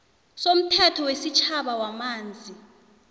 somthetho wesitjhaba wamanzi